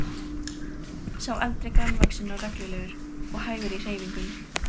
Sá eldri grannvaxinn og renglulegur og hægur í hreyfingum.